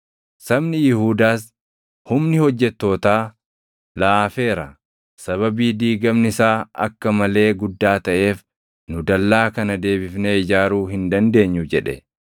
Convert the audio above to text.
Sabni Yihuudaas, “Humni hojjettootaa laafeera; sababii diigamni isaa akka malee guddaa taʼeef nu dallaa kana deebifnee ijaaruu hin dandeenyu” jedhe.